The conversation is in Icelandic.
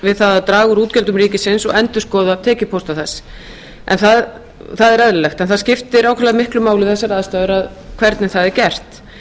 við að draga úr útgjöldum ríkisins og endurskoða tekjupósta þar það er eðlilegt en það skiptir ákaflega miklu máli við þessar aðstæður hvernig það er gert